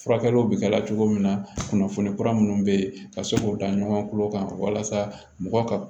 Furakɛliw bɛ kɛ ala cogo min na kunnafoni kura minnu bɛ yen ka se k'o da ɲɔgɔn kan walasa mɔgɔ ka